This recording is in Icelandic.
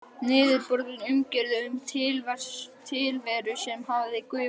Niðurbrotin umgjörð um tilveru sem hafði gufað upp.